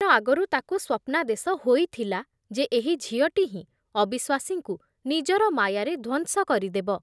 ଆଗରୁ ତାକୁ ସ୍ବପ୍ନାଦେଶ ହୋଇଥିଲା ଯେ ଏହି ଝିଅଟି ହିଁ ଅବିଶ୍ଵାସୀଙ୍କୁ ନିଜର ମାୟାରେ ଧ୍ବଂସ କରିଦେବ ।